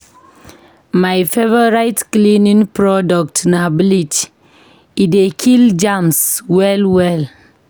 My favorite cleaning product na bleach, e dey kill germs well well.